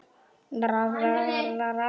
eða meira.